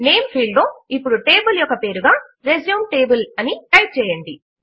name field లో ఇప్పుడు table యొక్క పేరుగా రిజ్యూమ్ టేబుల్ అని టైప్ చేయండి